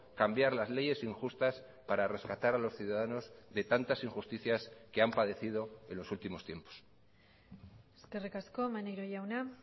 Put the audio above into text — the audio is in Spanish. cambiar las leyes injustas para rescatar a los ciudadanos de tantas injusticias que han padecido en los últimos tiempos eskerrik asko maneiro jauna